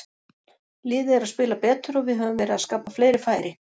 Liðið er að spila betur og við höfum verið að skapa fleiri færi.